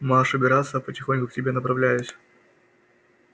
марш убираться а потихоньку к тебе направляюсь